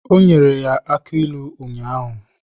Ọ nyere ya aki ilu ụnyaahụ.